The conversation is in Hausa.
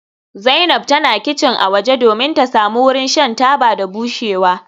Zainab tana kicin a waje domin ta samu wurin shan taba da bushewa.